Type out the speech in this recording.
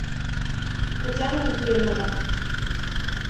татьяна ефремова